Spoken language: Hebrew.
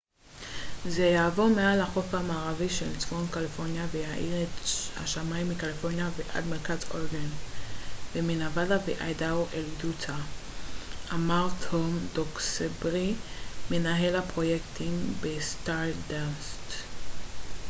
זה יעבור מעל החוף המערבי של צפון קליפורניה ויאיר את השמים מקליפורניה ועד מרכז אורגון ומנבדה ואיידהו אל יוטה אמר טום דוקסברי מנהל הפרויקטים בסטארדאסט